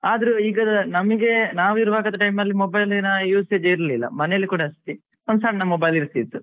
ಆದ್ರು ಈಗ ನಮ್ಗೆ ನಾವು ಇರುವಾಗದ time ಅಲ್ಲಿ mobile ನ usage ಏನು ಇರ್ಲಿಲ್ಲ ಮನೆಯಲ್ಲಿ ಕೂಡ ಅಷ್ಟೇ ಒಂದು ಸಣ್ಣ mobile ಇರ್ತಿತ್ತು